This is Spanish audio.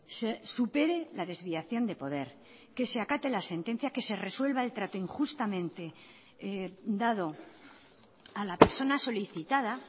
se supere la desviación de poder que se acate la sentencia que se resuelva el trato injustamente dado a la persona solicitada